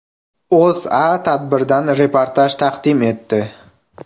O‘zA tadbirdan reportaj taqdim etdi .